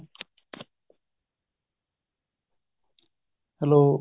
hello